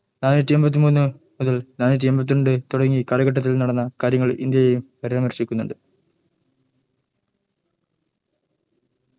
നാനൂറ്റി എമ്പതി മൂന്ന് നാനൂറ്റി എമ്പതി രണ്ട് കലാഘടങ്ങളിൽ നടന്ന കാര്യങ്ങൾ ഇന്ത്യയും പരാമർശ്ശിക്കുനിണ്ട്